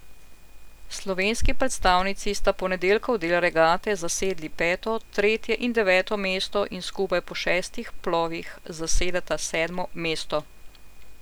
Slovenski predstavnici sta ponedeljkov del regate zasedli peto, tretje in deveto mesto in skupaj po šestih plovih zasedata sedmo mesto.